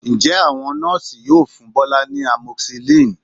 Ǹjẹ́ àwọn Nọ́ọ̀sì yóò fún Bọ́lá ní amoxicillin?